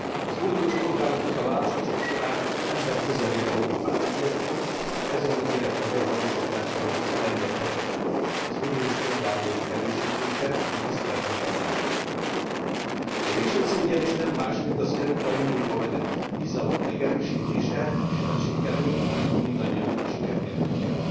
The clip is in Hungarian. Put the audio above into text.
Az uniós polgároknak a választások során emberközelibb Európát ígértünk, ezen ígéretünk megvalósításához elengedhetetlen az uniós polgári jogok erősítése és tiszteletben tartása. A végső cél ugyanis nem más, mint az Európai Unióba vetett bizalom megerősítése, és ha ez sikerül, akkor mindannyian sikert értünk el.